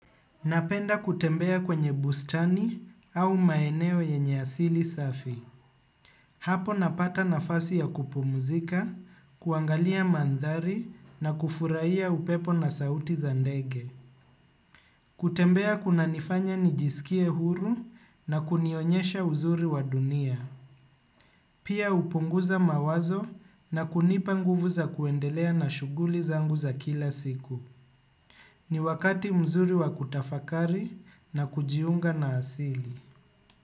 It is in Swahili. Napenda kutembea kwenye bustani au maeneo yenye asili safi. Hapo napata nafasi ya kupumuzika, kuangalia mandhari na kufurahia upepo na sauti za ndege. Kutembea kuna nifanya nijisikie huru na kunionyesha uzuri wa dunia. Pia hupunguza mawazo na kunipa nguvu za kuendelea na shughuli zangu za kila siku. Ni wakati mzuri wa kutafakari na kujiunga na asili.